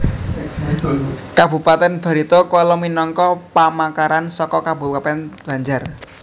Kabupatèn Barito Kuala minangka pamekaran saka Kabupatèn Banjar